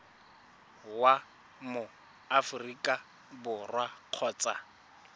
wa mo aforika borwa kgotsa